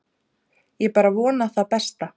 Ég bara vona það besta.